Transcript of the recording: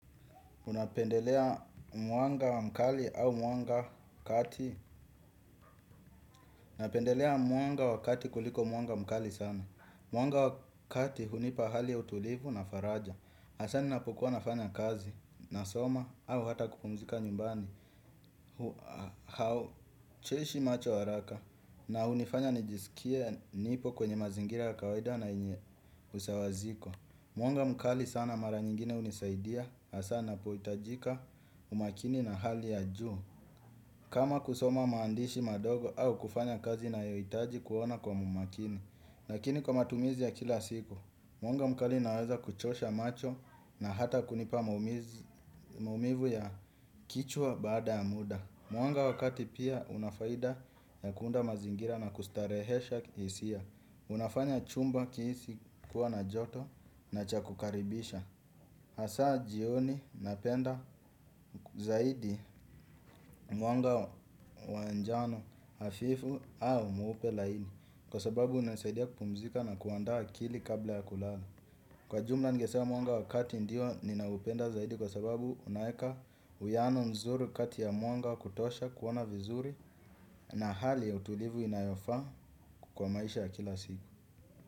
Unapendelea mwanga wa mkali au mwanga kati. Napendelea mwanga wa kati kuliko mwanga mkali sana. Mwanga wa kati hunipa hali utulivu na faraja hasa ninapokuwa nafanya kazi nasoma au hata kupumzika nyumbani hau choshi macho haraka na hunifanya nijisikie nipo kwenye mazingira ya kawaida na yenye usawaziko. Mwanga mkali sana mara nyingine hunisaidia hasa ninapohitajika umakini na hali ya juu. Kama kusoma maandishi madogo au kufanya kazi yanayohitaji kuona kwa umakini lakini kwa matumizi ya kila siku mwanga mkali unaweza kuchosha macho na hata kunipa maumivu mumivu ya kichwa baada ya muda. Mwanga wa kati pia una faida ya kuunda mazingira na kustarehesha hisia. Unafanya chumba kihisi kuwa na joto na chakukaribisha. Hasaa jioni napenda zaidi mwanga wa njano hafifu au mweupe laini kwa sababu unasaidia kupumzika na kuandaa akili kabla ya kulala. Kwa jumla ningesema mwanga wa kati ndio ninaupenda zaidi kwa sababu unaweka uwiano mzuri kati ya mwanga kutosha kuona vizuri na hali ya utulivu inayofaa kwa maisha ya kila siku.